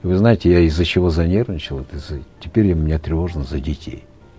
вы знаете я из за чего занервничал это из за теперь мне тревожно за детей